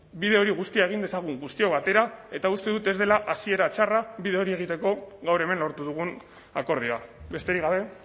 bide hori guztia egin dezagun guztiok batera eta uste dut ez dela hasiera txarra bide hori egiteko gaur hemen lortu dugun akordioa besterik gabe